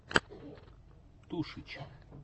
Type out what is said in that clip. тушич